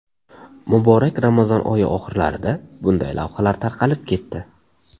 Muborak Ramazon oyi oxirlarida bunday lavhalar tarqalib ketdi.